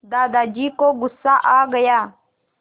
दादाजी को गुस्सा आ गया